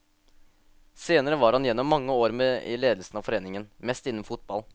Senere var han gjennom mange år med i ledelsen av foreningen, mest innen fotball.